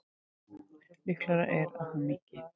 Líklegra er að hann minnki.